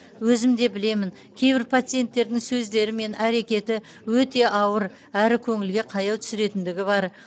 өзімде білемін кейбір пациенттердің сөздері мен әрекеті өте ауыр әрі көңілге қаяу түсіретіндігі бар